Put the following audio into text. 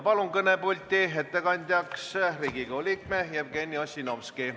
Palun kõnepulti ettekandjaks Riigikogu liikme Jevgeni Ossinovski.